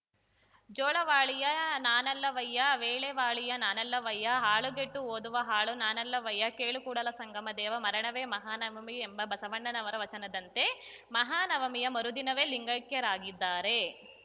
ಜೋಳವಾಳಿಯವ ನಾನಲ್ಲವಯ್ಯ ವೇಳೆವಾಳಿಯ ನಾನಲ್ಲವಯ್ಯ ಹಾಳುಗೆಟ್ಟು ಓದುವ ಆಳು ನಾನಲ್ಲವಯ್ಯ ಕೇಳು ಕೂಡಲಸಂಗಮದೇವಾ ಮರಣವೇ ಮಹಾನವಮಿ ಎಂಬ ಬಸವಣ್ಣನವರ ವಚನದಂತೆ ಮಹಾನವಮಿಯ ಮರುದಿನವೇ ಲಿಂಗೈಕ್ಯರಾಗಿದ್ದಾರೆ